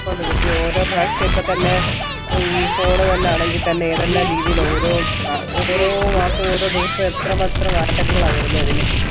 B ഓരോ പ്രാവിശ്യം ഇപ്പൊ തന്നെ ഇഇഇ phone തന്നെ ആണെങ്കി തന്നെ ഏതെല്ലാം രീതിലാണ് ഓരോ ഓരോ ദിവസം എത്രമാത്രം മാറ്റങ്ങളാണ് വരുന്നേ ഇതിൽ